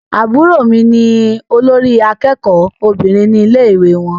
Àbúrò mí ní olórí àkẹ́kọ̀ọ Obìnrin ní ilé ìwé wọn.